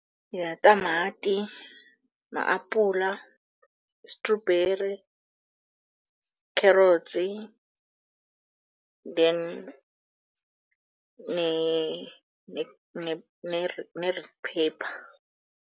Yitamati, ma-apula, strawberry, kherotsi, then ne-red pepper.